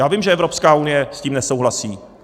Já vím, že Evropská unie s tím nesouhlasí.